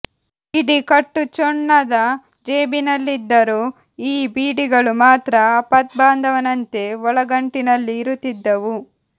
ಇಡೀ ಕಟ್ಟು ಚೊಣ್ಣದ ಜೇಬಿನಲ್ಲಿದ್ದರೂ ಈ ಬೀಡಿಗಳು ಮಾತ್ರ ಆಪದ್ಬಾಂಧವನಂತೆ ಒಳಗಂಟಿನಲ್ಲಿ ಇರುತ್ತಿದ್ದವು